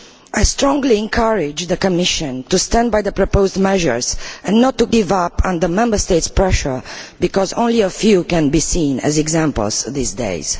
I strongly encourage the Commission to stand by the proposed measures and not to give up under Member States' pressure, because only a few can be seen as examples these days.